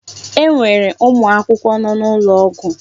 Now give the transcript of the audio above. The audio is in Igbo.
E nwere ụmụ akwụkwọ nọ n'ụlọ ọgwụ.